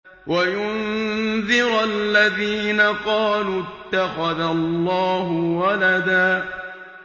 وَيُنذِرَ الَّذِينَ قَالُوا اتَّخَذَ اللَّهُ وَلَدًا